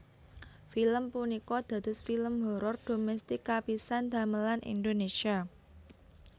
Film punika dados film horor dhomestik kapisan damelan Indonesia